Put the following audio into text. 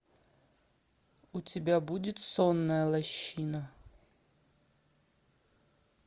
у тебя будет сонная лощина